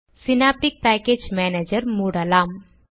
synaptic package manager மூடலாம்